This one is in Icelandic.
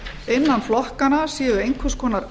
innan flokkanna séu einhver konar